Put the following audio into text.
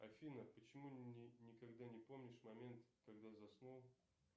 афина почему никогда не помнишь момент когда заснул